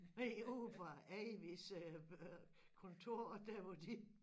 Herude fra Avis' øh kontor der hvor de